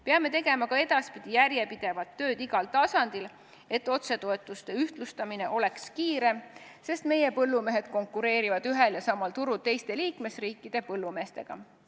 Peame tegema ka edaspidi järjepidevalt tööd igal tasandil, et otsetoetuste ühtlustamine oleks kiirem, sest meie põllumehed konkureerivad ühel ja samal turul teiste liikmesriikide põllumeestega.